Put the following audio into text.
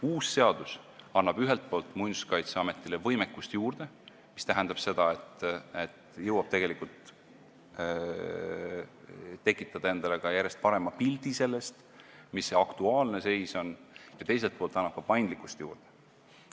Uus seadus annab ühelt poolt Muinsuskaitseametile võimekust juurde, mis tähendab seda, et jõuab tegelikult tekitada endale järjest parema pildi sellest, mis see aktuaalne seis on, ja teiselt poolt annab ka paindlikkust juurde.